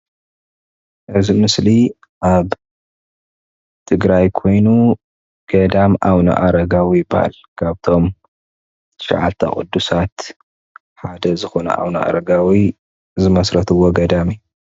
እዚ ምስሊ አብ ትግራይ ኮይኑ ገዳም ኣብነ ኣረጋዊ ይባሃል። ካብቶም ትሻዓተ ቅዱሳት ሓደ ዝኾኑ ኣቡነ ኣረጋዊ ዝመስረትዎ ገዳም እዩ።